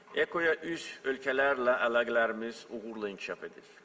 EKO-ya üzv ölkələrlə əlaqələrimiz uğurla inkişaf edir.